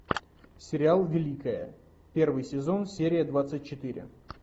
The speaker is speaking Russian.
сериал великая первый сезон серия двадцать четыре